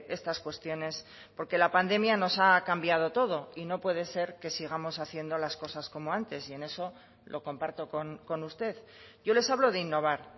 estas cuestiones porque la pandemia nos ha cambiado todo y no puede ser que sigamos haciendo las cosas como antes y en eso lo comparto con usted yo les hablo de innovar